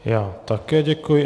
Já také děkuji.